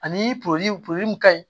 Ani mun ka ɲi